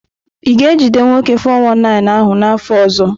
Ị ga-ejide nwoke 419 ahụ n'afọ ọzọ?